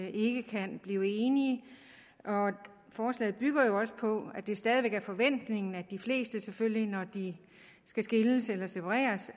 ikke kan blive enige og forslaget bygger jo også på at det stadig væk er forventningen at de fleste selvfølgelig når de skal skilles eller separeres